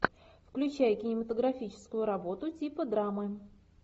включай кинематографическую работу типа драмы